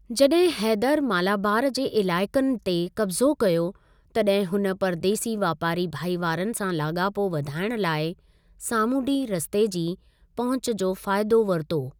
जॾहिं हैदर मालाबार जे इलाइकनि ते कब्ज़ो कयो, तॾहिं हुन परदेसी वापारी भाईवारनि सां लाॻापो वधाइण लाइ सामुंडी रस्ते जी पहुंच जो फाइदो वरितो।